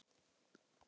VOPNUÐ ÖRMUM